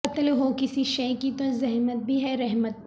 قلت ہو کسی شئے کی تو زحمت بھی ہے رحمت